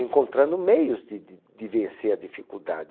encontrando meios de de de vencer a dificuldade.